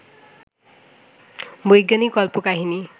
বৈজ্ঞানিক কল্পকাহিনী